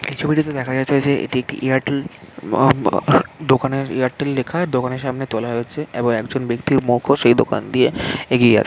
এই ছবিটিতে দেখা যাচ্ছে যে এটি একটি এয়ারটেল ম আম দোকানের এয়ারটেল লেখা দোকানের সামনে তোলা হয়েছে এবং একজন ব্যক্তির মুখও সেই দোকান দিয়ে এগিয়ে আস--